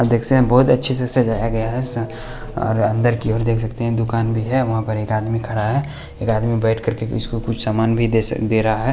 आप देख सकते हैं बहुत अच्छे से सजाया गया है और अंदर की ओर देख सकते हैं दुकान भी है वहाँ पर एक आदमी खड़ा है एक आदमी बैठ कर के इसको कुछ सामान भी दे सक दे रहा है।